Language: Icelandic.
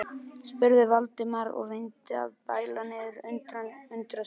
spurði Valdimar og reyndi að bæla niður undrun sína.